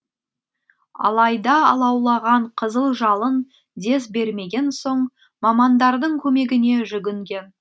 алайда алаулаған қызыл жалын дес бермеген соң мамандардың көмегіне жүгінген